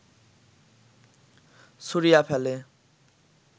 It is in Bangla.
ছুঁড়িয়া ফেলে